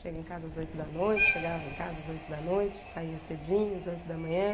Chega em casa às oito da noite, chegava em casa às oito da noite, saia cedinho às oito da manhã.